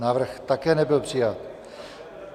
Návrh také nebyl přijat.